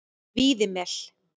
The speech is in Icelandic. Víðimel